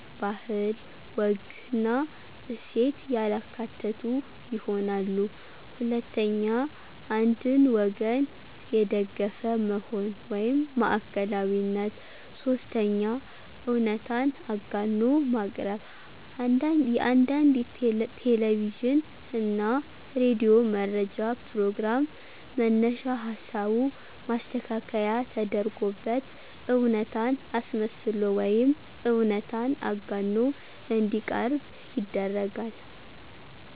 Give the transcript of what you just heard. ባህል፣ ወግና እሴት ያላካተቱ ይሆናሉ። 2ኛ, አንድን ወገን የደገፈ መሆን (ማዕከላዊነት)፦ 3ኛ, እውነታን አጋኖ ማቅረብ፦ የአንዳንድ ቴለቪዥን እና ሬዲዮ መረጃ ፕሮግራም መነሻ ሀሳቡ ማስተካከያ ተደርጎበት እውነታን አስመስሎ ወይም እውነታን አጋኖ እንዲቀርብ ይደረጋል።